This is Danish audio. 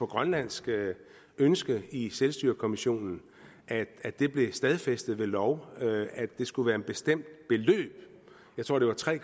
grønlandsk ønske i selvstyrekommissionen at det blev stadfæstet ved lov at det skulle være et bestemt beløb jeg tror det var tre